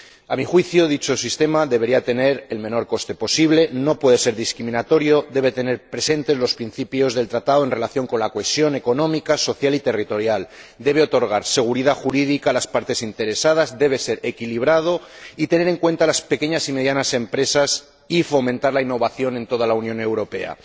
A mi juicio, dicho sistema debería tener el menor coste posible, no puede ser discriminatorio, debe tener presentes los principios del Tratado en relación con la cohesión económica, social y territorial, debe otorgar seguridad jurídica a las partes interesadas, debe ser equilibrado y debe tener en cuenta a las pequeñas y medianas empresas y fomentar la innovación en toda la Unión Europea.